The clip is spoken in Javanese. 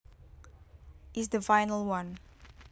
is the final one